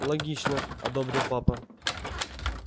логично одобрил папа